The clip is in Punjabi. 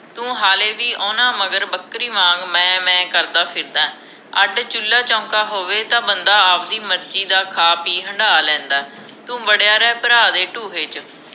ਤੂੰ ਹਾਲੇ ਵੀ ਓਹਨਾ ਮਗਰ ਬੱਕਰੀ ਵਾਂਗ ਮੈਂ ਮੈਂ ਕਰਦਾ ਫਿਰਦਾ ਅੱਡ ਚੂਲਾ ਚੌਂਕਾ ਹੋਵੇ ਤਾਂ ਬੰਦਾ ਆਵਦੀ ਮਰਜੀ ਦਾ ਖਾ ਪੀ ਹੰਢਾ ਲੈਂਦਾਂ ਤੂੰ ਵਡਿਆ ਰਹਿ ਭਰਾ ਦੇ ਢੂਹੇ ਚ